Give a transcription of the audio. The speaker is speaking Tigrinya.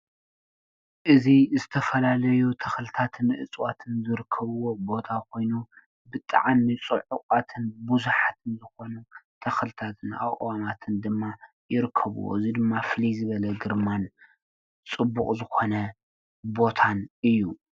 እዚ ዝተፈላለዩ ተክልታትን ዕፅዋትን ዝርከቦ ቦታ ኮይኑ ብጣዕሚ ብዙሓት ፅዑቃትን ዝኮኑ ተኽልታትን አእዋማትን ድማ ይርከብዎ እዚ ድማ ፍሉይ ዝበለ ግርማን ፅቡቅ ዝኮነ ቦታን እዪ ።